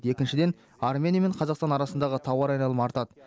екіншіден армения мен қазақстан арасындағы тауар айналымы артады